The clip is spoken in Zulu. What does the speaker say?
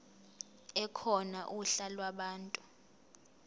ekhona uhla lwabantu